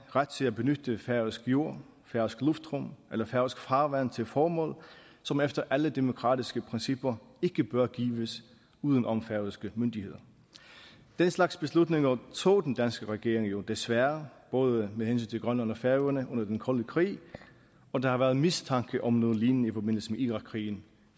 ret til at benytte færøsk jord færøsk luftrum eller færøsk farvand til et formål som efter alle demokratiske principper ikke bør gives uden om færøske myndigheder den slags beslutninger tog den danske regering jo desværre både med hensyn til grønland og færøerne under den kolde krig og der har været mistanke om noget lignende i forbindelse med irakkrigen